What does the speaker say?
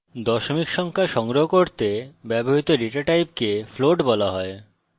দশমিক সংখ্যা সংগ্রহ করতে ব্যবহৃত ডেটা টাইপকে float বলা হয়